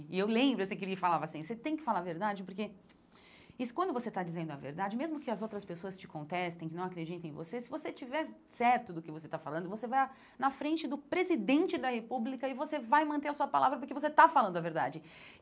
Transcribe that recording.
E eu lembro assim que ele falava assim, você tem que falar a verdade porque quando você está dizendo a verdade, mesmo que as outras pessoas te contestem, que não acreditem em você, se você tiver certo do que você está falando, você vai na frente do presidente da república e você vai manter a sua palavra porque você está falando a verdade.